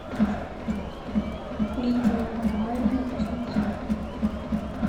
лидия николаевна кузнецова